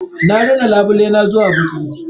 Na rina labulaye na zuwa baƙi.